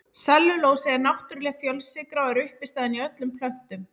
Sellulósi er náttúrleg fjölsykra og er uppistaðan í öllum plöntum.